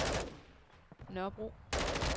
Nørrebro